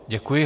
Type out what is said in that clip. Děkuji.